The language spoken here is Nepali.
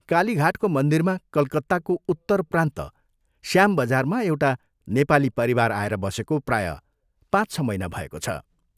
कालीघाटको मन्दिरमा कलकत्ताको उत्तर प्रान्त श्यामबजारमा एउटा नेपाली परिवार आएर बसेको प्रायः पाँच छ महीना भएको छ।